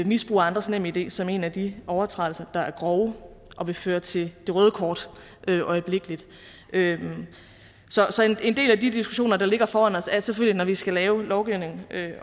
misbrug af andres nemid som en af de overtrædelser der er grove og vil føre til det røde kort øjeblikkeligt så en del af de diskussioner der ligger foran os er selvfølgelig vi skal lave lovgivningen